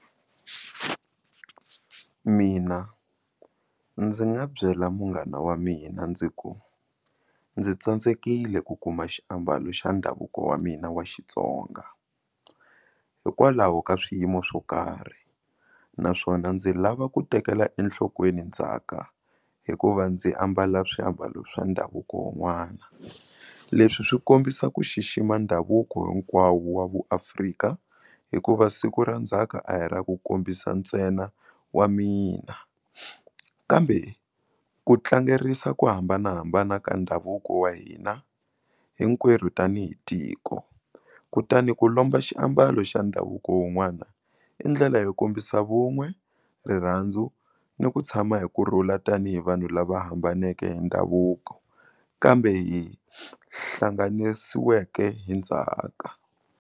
Mina ndzi nga byela munghana wa mina ndzi ku ndzi tsandzekile ku kuma xiambalo xa ndhavuko wa mina wa Xitsonga hikwalaho ka swiyimo swo karhi naswona ndzi lava ku tekela enhlokweni ndzhaka hikuva ndzi ambala swiambalo swa ndhavuko wun'wana. Leswi swi kombisa ku xixima ndhavuko hinkwawo wa vuAfrika hikuva siku ra ndzhaka a hi ra ku kombisa ntsena wa mina kambe ku tlangerisa ku hambanahambana ka ndhavuko wa hina hinkwerhu tanihi tiko kutani ku lomba xiambalo xa ndhavuko wun'wana i ndlela yo kombisa vun'we, rirhandzu ni ku tshama hi kurhula tanihi vanhu lava hambaneke hi ndhavuko kambe hi hlanganisiweke hi ndzhaka.